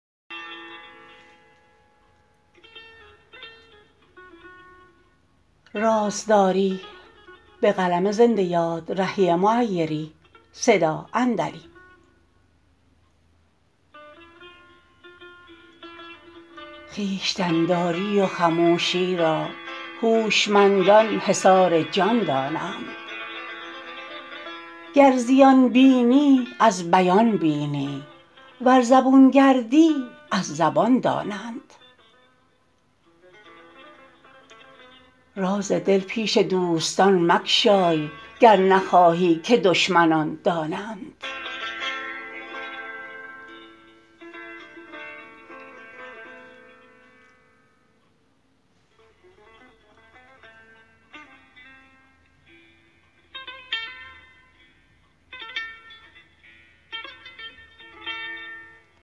خویشتن داری و خموشی را هوشمندان حصار جان دانند گر زیان بینی از بیان بینی ور زبون گردی از زبان دانند راز دل پیش دوستان مگشای گر نخواهی که دشمنان دانند